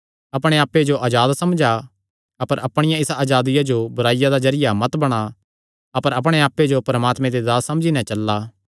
अपणे आप्पे जो अजाद समझा अपर अपणिया इसा अजादिया जो बुराईया दा जरिया मत बणा अपर अपणे आप्पे जो परमात्मे दे दास समझी नैं चला